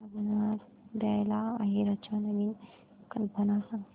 लग्नात द्यायला आहेराच्या नवीन कल्पना सांग